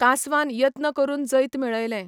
कांसवान यत्न करून जैत मेळयलें.